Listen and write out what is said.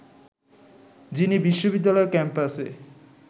যিনি বিশ্ববিদ্যালয় ক্যাম্পাসে